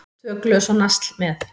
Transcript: Tvö glös og nasl með.